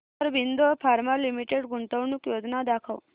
Aurobindo pharma limited गुंतवणूक योजना दाखव